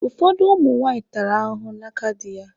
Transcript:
Ụfọdụ ụmụ nwaanyị tara ahụhụ n'aka dị ya